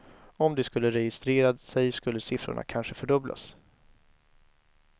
Om de skulle registrera sig skulle siffrorna kanske fördubblas.